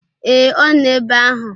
Ee, ọ nọ ebe ahụ.